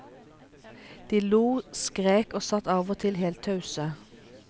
De lo, skrek og satt av og til helt tause.